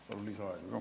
Palun lisaaega ka.